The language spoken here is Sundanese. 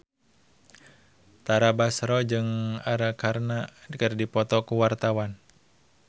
Tara Basro jeung Arkarna keur dipoto ku wartawan